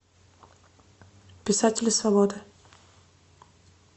писатели свободы